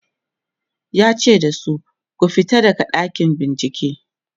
yace da su "ku fito daga ɗakin bincike!"